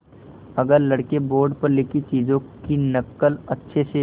अगर लड़के बोर्ड पर लिखी चीज़ों की नकल अच्छे से